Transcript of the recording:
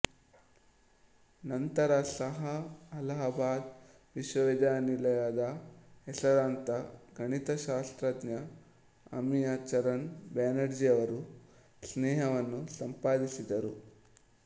ನಂತರ ಸಹಾ ಅಲಹಾಬಾದ್ ವಿಶ್ವವಿದ್ಯಾನಿಲಯದ ಹೆಸರಾಂತ ಗಣಿತಶಾಸ್ತ್ರಜ್ಞ ಅಮಿಯ ಚರಣ್ ಬ್ಯಾನರ್ಜಿಯವರ ಸ್ನೇಹವನ್ನು ಸಂಪಾದಿಸಿದರು